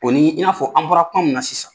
O ni i n'a fɔ an bɔra kuma min na sisan.